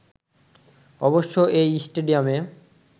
অবশ্য এই স্টেডিয়ামে